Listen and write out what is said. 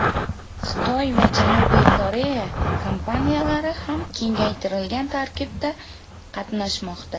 Xitoy va Janubiy Koreya kompaniyalari ham kengaytirilgan tarkibda qatnashmoqda.